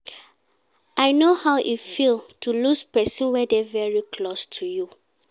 I no how e feel to lose person wey dey very close to you